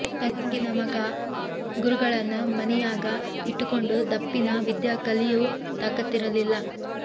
ತಂಗಿ ನಮಗ ಗುರುಗಳನ್ನ ಮನಿಯಾಗ ಇಟ್ಟಕೊಂಡು ದಪ್ಪಿನ ವಿದ್ಯಾ ಕಲಿಯೂ ತಾಕತ್ತಿರಲಿಲ್ಲ